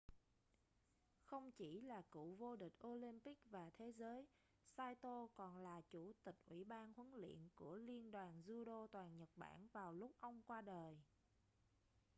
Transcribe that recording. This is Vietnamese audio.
không chỉ là cựu vô địch olympic và thế giới saito còn là chủ tịch ủy ban huấn luyện của liên đoàn judo toàn nhật bản vào lúc ông qua đời